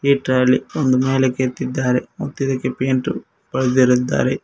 ಈ ಟ್ರಾಲಿ ಒಂದು ಮೇಲಕ್ಕೆ ಎತ್ತಿದ್ದಾರೆ ಮತ್ತು ಪೇಂಟ್ ಬಳೇದಿರುತ್ತಾರೆ.